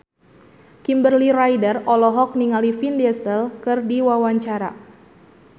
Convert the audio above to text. Kimberly Ryder olohok ningali Vin Diesel keur diwawancara